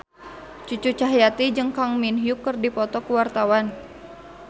Cucu Cahyati jeung Kang Min Hyuk keur dipoto ku wartawan